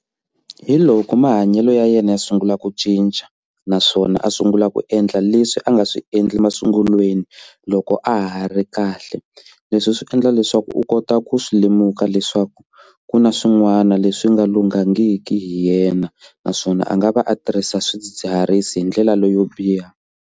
Hi loko mahanyelo ya yena ya sungula ku cinca naswona a sungula ku endla leswi a nga swi endli masungulweni loko a ha ri kahle leswi swi nga endla leswaku u kota ku swi lemuka leswaku ku na swin'wana leswi nga lunghangiki hi yena naswona a nga va a tirhisa swidzidziharisi hi ndlela leyo biha.